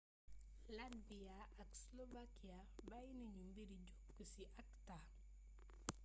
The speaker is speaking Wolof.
latvia ak slovakia bayyi nañu mbiri jokku ci acta